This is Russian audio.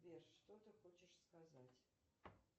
сбер что ты хочешь сказать